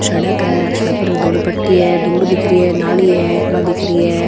सड़क है सड़क पर एक धोली पट्टी है धूड़ दिख रहे है नाली है बा दिखरीं है।